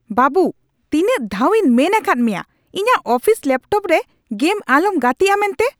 ᱵᱟᱹᱵᱩ, ᱛᱤᱱᱟᱹᱜ ᱫᱷᱟᱣᱤᱧ ᱢᱮᱱ ᱟᱠᱟᱫ ᱢᱮᱭᱟ ᱤᱧᱟᱜ ᱚᱯᱷᱤᱥ ᱞᱮᱯᱴᱚᱯ ᱨᱮ ᱜᱮᱢ ᱟᱞᱚᱢ ᱜᱟᱛᱤᱜᱼᱟ ᱢᱮᱱᱛᱮ ?